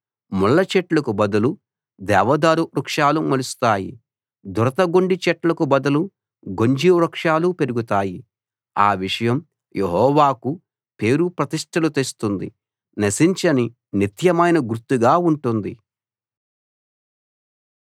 ముళ్ళచెట్లకు బదులు దేవదారు వృక్షాలు మొలుస్తాయి దురదగొండిచెట్లకు బదులు గొంజి వృక్షాలు పెరుగుతాయి ఆ విషయం యెహోవాకు పేరు ప్రతిష్టలు తెస్తుంది నశించని నిత్యమైన గుర్తుగా ఉంటుంది